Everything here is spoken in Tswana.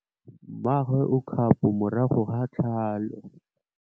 Mmagwe o kgapô morago ga tlhalô.